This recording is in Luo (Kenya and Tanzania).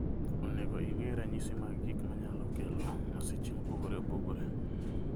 Onego ing'e ranyisi mag gik manyalo kelo masiche mopogore opogore.